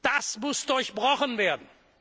Das muss durchbrochen werden!